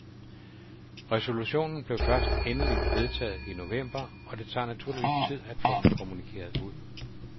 Resolutionen blev først endeligt vedtaget i november og det tager naturligvis tid at få den kommunikeret ud.